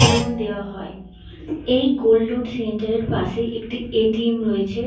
Loan দেওয়া হয়। এই গোল্ড লোন সেন্টারের পাশে একটি এ. টি. এম. রয়েছে ।